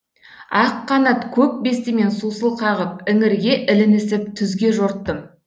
ақ қанат көк бестімен сусыл қағып іңірге ілінісіп түзге жорттым